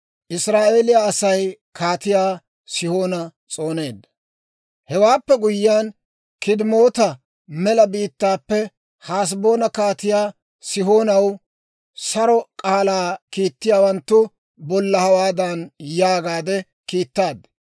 «Hewaappe guyyiyaan, K'idemoota mela biittaappe Haseboona Kaatiyaa Sihoonaw saro k'aalaa kiitettiyawanttu bolla hawaadan yaagaade kiittaad;